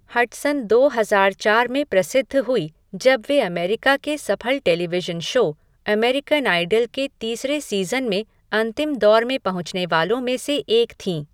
Hudson दो हजार चार में प्रसिद्ध हुई जब वे अमेरिका के सफल टेलीविशन शो, अमेरिकन आइडल के तीसरे सीज़न में अंतिम दौर में पहुँचने वालों में से एक थीं।